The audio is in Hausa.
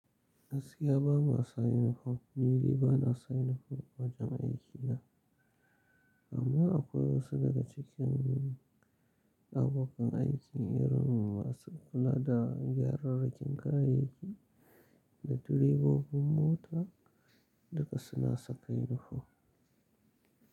Gaskiya bama masu unifom, nidai ba na sa unifom wajen aiki na. Amma akwai wasu daga cikin abokan aikin irin masu kula da gyararrakin kayayyaki da direbobin mota duka suna saka unifom.